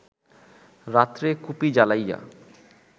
রাত্রে কুপি জ্বালাইয়া